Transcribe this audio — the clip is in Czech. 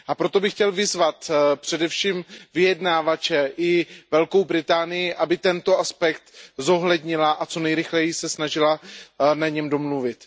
A proto bych chtěl vyzvat především vyjednávače i Velkou Británii, aby tento aspekt zohlednili a co nejrychleji se snažili na něm domluvit.